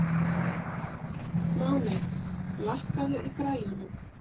Máney, lækkaðu í græjunum.